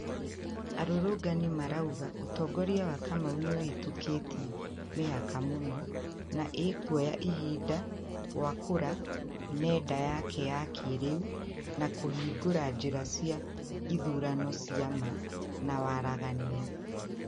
Arũrũngani marauga ũtongoria wa kamau nĩ ũhĩtũkĩtie mĩhaka mũno na ikwoya ihinda gwakũra nenda yake ya kĩrĩu na kũhingũra njĩra cia ithurano cia ma na waragania